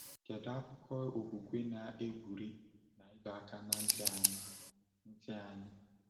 Kedu akụkụ okwukwe na-egwuri na ịdọ aka ná ntị anyị? ntị anyị?